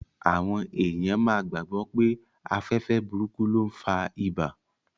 Àwọn èèyàn máa gbàgbọ̀ pé afẹ́fẹ́ burúkú ló n fa ibà